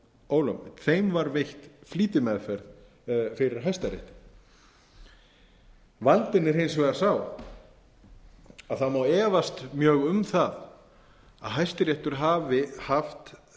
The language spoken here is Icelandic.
ólögmæt þeim var veitt flýtimeðferð fyrir hæstarétti vandinn er hins vegar sá að það má efast mjög um það að hæstiréttur hafi haft